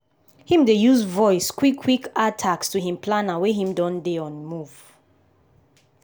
him dey use voice quick quick add task to him planner wen him dey on a move.